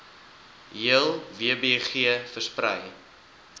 hele wbg versprei